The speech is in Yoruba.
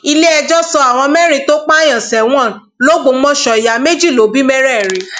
iléẹjọ sọ àwọn mẹrin tó pààyàn sẹwọn lọgbọmọso ìyá méjì lo bí àwọn mẹrẹẹrin